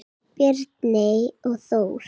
Bjarney og Þór.